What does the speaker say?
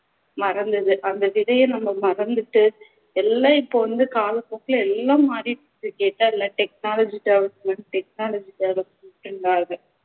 மறந்தது அந்த விதையை நம்ம மறந்திட்டு எல்லாம் இப்போ வந்து காலப்போக்குல எல்லாம் மாறிடுச்சு கேட்டா எல்லாம் technology development technology development